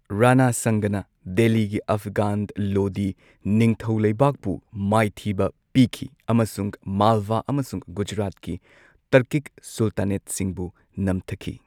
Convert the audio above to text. ꯔꯥꯅꯥ ꯁꯪꯒꯥꯅ ꯗꯦꯜꯂꯤꯒꯤ ꯑꯐꯘꯥꯟ ꯂꯣꯗꯤ ꯅꯤꯡꯊꯧꯂꯩꯕꯥꯛꯄꯨ ꯃꯥꯏꯊꯤꯕ ꯄꯤꯈꯤ ꯑꯃꯁꯨꯡ ꯃꯥꯜꯋꯥ ꯑꯃꯁꯨꯡ ꯒꯨꯖꯔꯥꯠꯀꯤ ꯇꯔꯀꯤꯛ ꯁꯨꯜꯇꯥꯅꯦꯠꯁꯤꯡꯕꯨ ꯅꯝꯊꯈꯤ꯫